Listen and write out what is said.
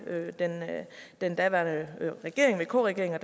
den daværende regering vk regeringen og